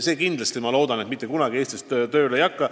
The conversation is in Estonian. Usun, et see mitte kunagi Eestis tööle ei hakka.